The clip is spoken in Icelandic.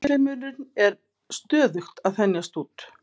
Alheimurinn er stöðugt að þenjast út.